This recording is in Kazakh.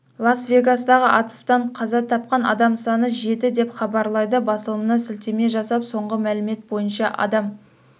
лас-вегастағы атыстан қаза тапқан адам саны жетті деп хабарлайды басылымына сілтеме жасап соңғы мәлімет бойынша адам